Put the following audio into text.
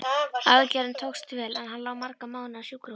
Aðgerðin tókst vel, en hann lá marga mánuði á sjúkrahúsinu.